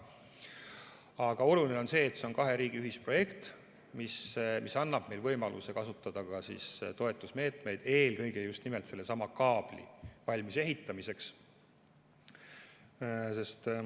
Aga oluline on, et see on kahe riigi ühisprojekt, mis annab meile võimaluse kasutada ka toetusmeetmeid, eelkõige just nimelt sellesama kaabli valmisehitamiseks.